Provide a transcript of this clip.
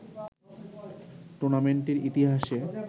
টুর্নামেন্টটির ইতিহাসে